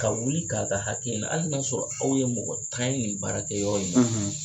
Ka wuli k'a ka hakɛ ɲini hali n'a y'a sɔrɔ aw ye mɔgɔ tan ye ni baarakɛyɔrɔ in na.